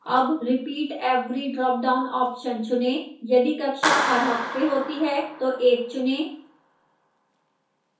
अब repeat every drop down option चुनें यदि कक्षा हर हफ्ते होती है तो 1 चुनें